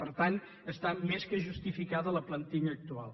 per tant està més que justificada la plantilla actual